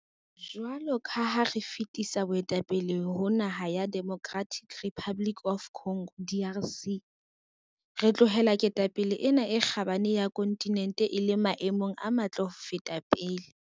Jwalo ka ha re fetisetsa boetapele ho naha ya Democratic Republic of Congo, DRC, re tlohela ketapele ena e kgabane ya kontinente e le maemong a matle ho feta pele.